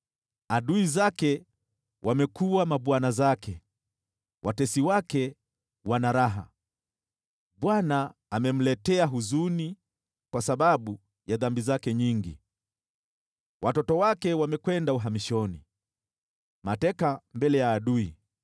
Adui zake wamekuwa mabwana zake, watesi wake wana raha. Bwana amemletea huzuni kwa sababu ya dhambi zake nyingi. Watoto wake wamekwenda uhamishoni, mateka mbele ya adui.